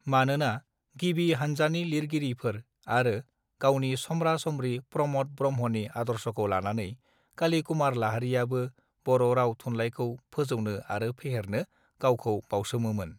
मानोना गिबि हानजानि लिरगिरिफोर आरो गावनि समरा समरि प्रमोद ब्रह्मानि आदर्षखौ लानानै कालि कुमार लाहारीयाबो बर राव थुनलाइखौ फोजौनो आरो फेहेरनो गावखौ बाउसोमोंमोन